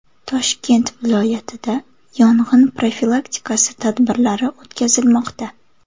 Toshkent viloyatida yong‘in profilaktikasi tadbirlari o‘tkazilmoqda.